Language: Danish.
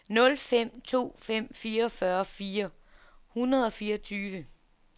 nul fem to fem fireogfyrre fire hundrede og fireogtyve